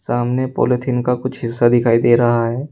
सामने पालीथीन का कुछ हिस्सा दिखाई दे रहा है।